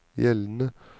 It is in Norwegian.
gjeldende